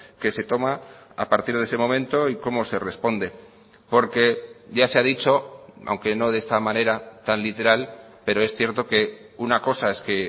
que se toma a partir de ese momento y cómo se responde porque ya se ha dicho aunque no de esta manera tan literal pero es cierto que una cosa es que